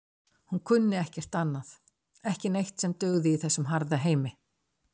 Hún kunni ekkert annað ekki neitt sem dugði í þessum harða heimi.